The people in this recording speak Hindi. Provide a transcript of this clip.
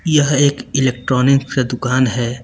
यह एक इलेक्ट्रॉनिक दुकान है।